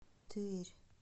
тверь